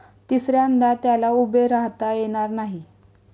तिसऱ्यांदा त्याला उभे राहता येणार नाही.